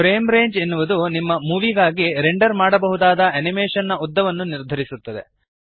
frame range ಎನ್ನುವುದು ನಿಮ್ಮ ಮೂವೀಗಾಗಿ ರೆಂಡರ್ ಮಾಡಬಹುದಾದ ಅನಿಮೇಶನ್ ನ ಉದ್ದವನ್ನು ನಿರ್ಧರಿಸುತ್ತದೆ